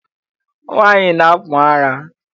Nwaanyị na-akpụ ara.